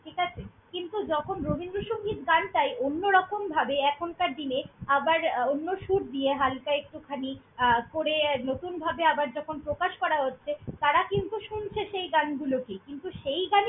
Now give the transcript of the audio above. ঠিকাছে, কিন্তু যখন রবীন্দ্রসংগীত গানটাই অন্যরকমভাবে এখনকার দিনে আবার অন্য সুর দিয়ে হাল্কা একটুখানি আহ করে নতুনভাবে আবার যখন প্রকাশ করা হচ্ছে, তারা কিন্তু শুনছে সেই গানগুলোকেই কিন্তু সেই গান।